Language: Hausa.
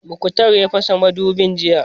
Muktar ne ya fasa mudubin jiya